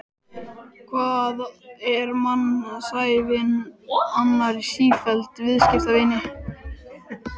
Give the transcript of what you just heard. Hvað er mannsævin annað en sífelld vistaskipti?